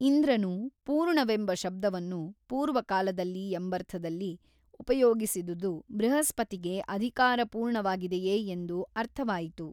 ಇಂದ್ರನು ಪೂರ್ಣವೆಂಬ ಶಬ್ದವನ್ನು ಪೂರ್ವಕಾಲ ಎಂಬರ್ಥದಲ್ಲಿ ಉಪಯೋಗಿಸಿದುದು ಬೃಹಸ್ಪತಿಗೆ ಅಧಿಕಾರ ಪೂರ್ಣವಾಗಿದೆಯೇ ಎಂದು ಅರ್ಥವಾಯಿತು.